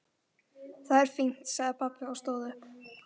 Það er fínt sagði pabbi og stóð upp.